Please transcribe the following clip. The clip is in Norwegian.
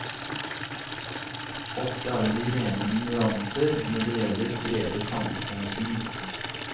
Ofte er det de rene ignoranter når det gjelder brede samfunnshensyn.